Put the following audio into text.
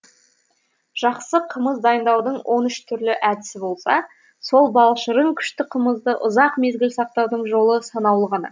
жақсы қымыз дайындаудың он үш түрлі әдісі болса сол балшырын күшті қымызды ұзақ мезгіл сақтаудың жолы санаулы ғана